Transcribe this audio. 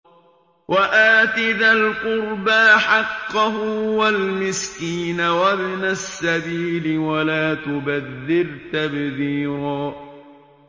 وَآتِ ذَا الْقُرْبَىٰ حَقَّهُ وَالْمِسْكِينَ وَابْنَ السَّبِيلِ وَلَا تُبَذِّرْ تَبْذِيرًا